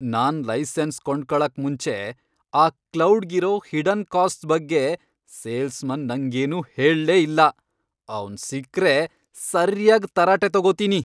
ನಾನ್ licence ಕೊಂಡ್ಕೊಳಕ್ ಮುಂಚೆ ಆ ಕ್ಲೌಡ್ಗಿರೋ ಹಿಡನ್ ಕಾಸ್ಟ್ಸ್ ಬಗ್ಗೆ ಸೇಲ್ಸ್ಮನ್ ನಂಗೇನೂ ಹೇಳ್ಲೆ ಇಲ್ಲ, ಅವ್ನ್ ಸಿಕ್ರೆ ಸರ್ಯಾಗ್ ತರಾಟೆ ತಗೋತೀನಿ.